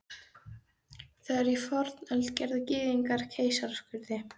Þegar í fornöld gerðu Gyðingar keisaraskurði.